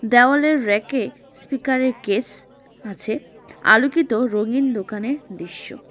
দেওয়ালের র্যাকে স্পিকারের কেস আছে আলোকিত রঙীন দোকানের দৃশ্য।